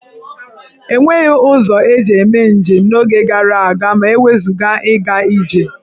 E nweghi ụzọ eji eme njem n'oge gara aga ma e wezụga ịga ije.